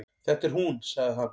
Þetta er hún sagði hann.